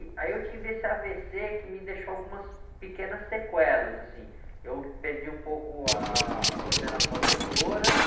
E aí eu tive esse á-vê-cê que me deixou algumas pequenas sequelas, assim, eu perdi um pouco a, a coordenação motora,